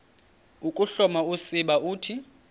ukuhloma usiba uthi